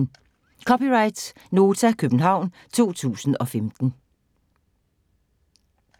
(c) Nota, København 2015